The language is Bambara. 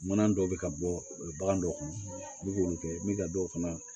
Mana dɔw bɛ ka bɔ bagan dɔ kɔnɔ i bɛ k'olu kɛ min ka dɔw fana